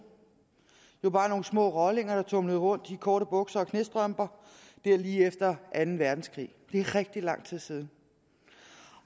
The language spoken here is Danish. jo bare nogle små rollinger der tumlede rundt i korte bukser og knæstrømper lige efter anden verdenskrig det er rigtig lang tid siden